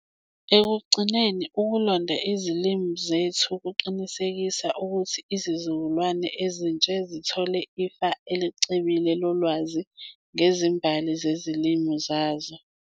Ekugcineni, ukulonda izilimi zethu kuqinisekisa ukuthi izizukulwane ezintsha zithole ifa elicebile lolwazi ngezimbali zezilimi zazo.